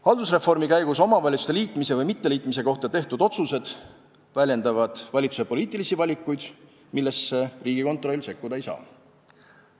Haldusreformi käigus omavalitsuste liitmise või mitteliitmise kohta tehtud otsused väljendavad valitsuse poliitilisi valikuid, millesse Riigikontroll sekkuda ei saa.